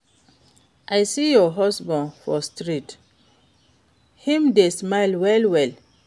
I see your husband for street, him dey smile well well.